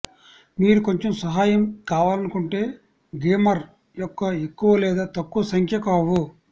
మీరు కొంచెం సహాయం కావాలనుకుంటే గేమర్ యొక్క ఎక్కువ లేదా తక్కువ సంఖ్య కావు